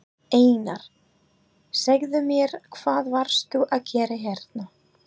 Einar, segðu mér hvað varst þú að gera hérna?